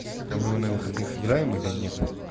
так а мы на выходных играем или нет